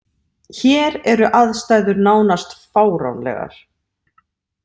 Hér eru aðstæður nánast fáránlegar.